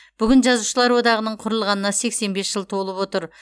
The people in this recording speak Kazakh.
бүгін жазушылар одағының құрылғанына сексен бес жыл толып отыр